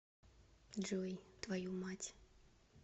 джой твою мать